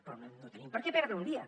però no tenim per què perdre un dia